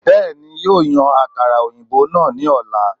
Bẹ́ẹ̀ni, yóò yan àkàrà òyìnbó náà ní ọ̀la